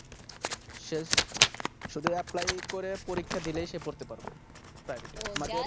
শেষ শুধু Apply করে পরীক্ষা দিলেই সে পড়তে পারবে Private এ আমাদের